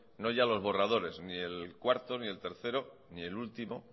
no ya los borradores ni el cuarto ni el tercero ni el último